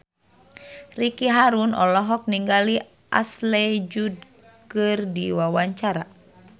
Ricky Harun olohok ningali Ashley Judd keur diwawancara